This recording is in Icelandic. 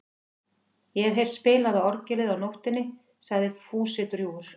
Ég hef heyrt spilað á orgelið á nóttunni sagði Fúsi drjúgur.